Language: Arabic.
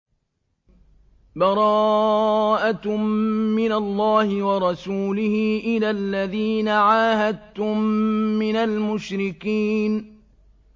بَرَاءَةٌ مِّنَ اللَّهِ وَرَسُولِهِ إِلَى الَّذِينَ عَاهَدتُّم مِّنَ الْمُشْرِكِينَ